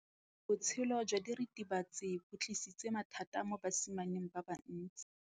Botshelo jwa diritibatsi ke bo tlisitse mathata mo basimaneng ba bantsi.